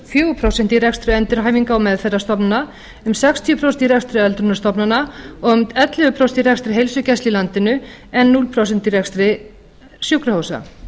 fjögur prósent í rekstri endurhæfingar og meðferðarstofnana um sextíu prósent í rekstri öldrunarstofnana um ellefu prósent í rekstri heilsugæslu í landinu en núll prósent í rekstri sjúkrahúsa